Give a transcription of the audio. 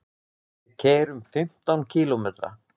Við keyrum fimmtán kílómetra.